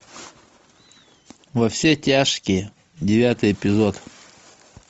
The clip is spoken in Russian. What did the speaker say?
во все тяжкие девятый эпизод